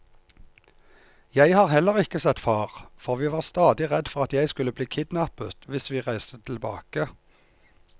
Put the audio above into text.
Jeg har heller ikke sett far, for vi var stadig redd for at jeg skulle bli kidnappet hvis vi reiste tilbake.